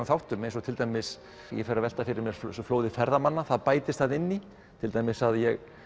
þáttum eins og til dæmis ég fer að velta fyrir mér flóði ferðamanna það bætist þarna inn í til dæmis að ég